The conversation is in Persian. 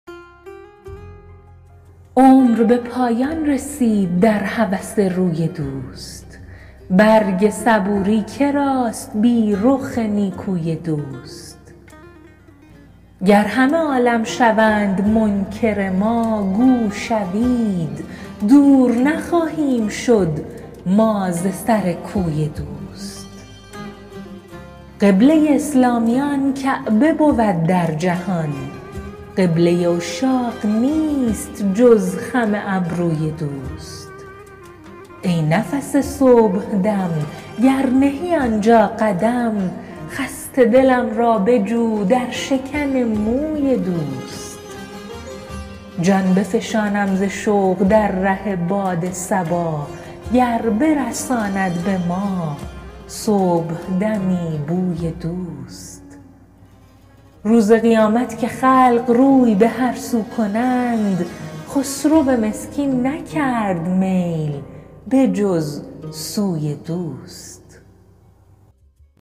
عمر به پایان رسید در هوس روی دوست برگ صبوری کراست بی رخ نیکوی دوست گر همه عالم شوند منکر ما گو شوید دور نخواهیم شد ما ز سر کوی دوست قبله اسلامیان کعبه بود در جهان قبله عشاق نیست جز خم ابروی دوست ای نفس صبحدم گر نهی آنجا قدم خسته دلم را بجو در شکن موی دوست جان بفشانم ز شوق در ره باد صبا گر برساند به ما صبحدمی بوی دوست روز قیامت که خلق روی به هر سو کنند خسرو مسکین نکرد میل به جز سوی دوست